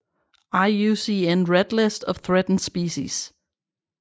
IUCN Red List of Threatened Species